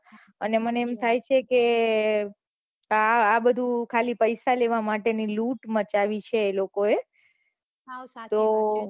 અને મને એમ થાય છે કે આ બઘુ પૈસા લેવા માટે ની લુટ મચાવી એ લોકો એ તો